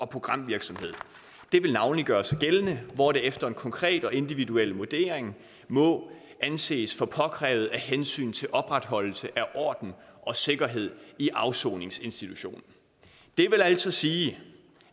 programvirksomhed det vil navnlig gøre sig gældende hvor det efter en konkret og individuel vurdering må anses for påkrævet af hensyn til opretholdelse af orden og sikkerhed i afsoningsinstitutionen det vil altså sige